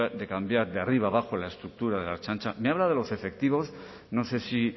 de cambiar de arriba abajo la estructura de la ertzaintza me habla de los efectivos no sé si